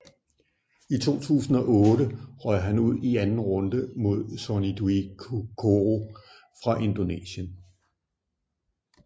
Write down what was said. I 2008 røg han ud i anden runde mod Sony Dwi Kuncoro fra Indonesien